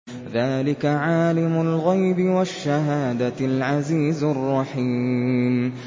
ذَٰلِكَ عَالِمُ الْغَيْبِ وَالشَّهَادَةِ الْعَزِيزُ الرَّحِيمُ